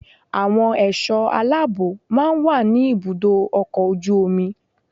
Àwọn ẹ̀ṣọ́ aláàbó máa ń wà ní ibùdó ọkọ̀ ojú omi.